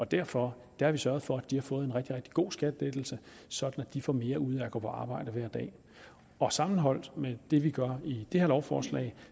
derfor har vi sørget for at de har fået en rigtig rigtig god skattelettelse så de får mere ud af at gå på arbejde hver dag sammenholdt med det vi gør i det her lovforslag